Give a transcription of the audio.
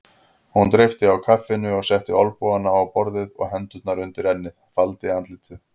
Hún dreypti á kaffinu, ég setti olnbogana á borðið og hendurnar undir ennið, faldi andlitið.